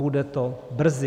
Bude to brzy.